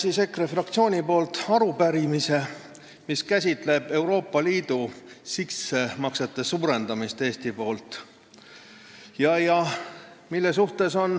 Esitame EKRE fraktsiooni nimel arupärimise, mis käsitleb võimalikke Eesti suuremaid sissemakseid Euroopa Liidu eelarvesse.